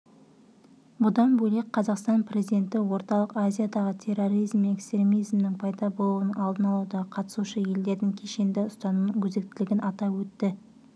бұдан бөлек қазақстан президенті орталық азиядағы терроризм мен экстремизмнің пайда болуының алдын алудағы қатысушы елдердің кешенді ұстанымының өзектілігін атап өтті